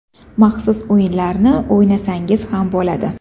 Maxsus o‘yinlarni o‘ynasangiz ham bo‘ladi.